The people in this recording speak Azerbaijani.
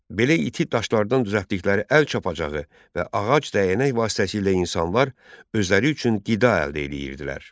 Belə iti daşlardan düzəltdikləri əl çapacağı və ağac dəyənək vasitəsilə insanlar özləri üçün qida əldə edirdilər.